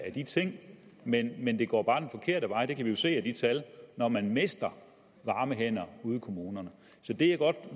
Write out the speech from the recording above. af de ting men men det går bare den forkerte vej det kan vi jo se af de tal når man mister varme hænder ude i kommunerne så det jeg godt